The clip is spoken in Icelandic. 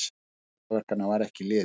Tími kraftaverkanna var ekki liðinn!